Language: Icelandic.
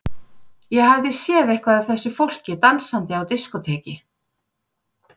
Ég hafði séð eitthvað af þessu fólki dansandi á diskóteki.